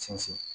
Sinsin